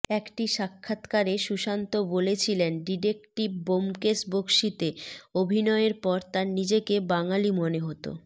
একটি সাক্ষাৎকারে সুশান্ত বলেছিলেন ডিটেকটিভ ব্যোমকেশ বক্সিতে অভিনয়ের পর তাঁর নিজেকে বাঙালি মনে হত